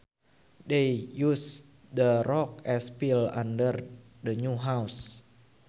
They used the rocks as fill under the new house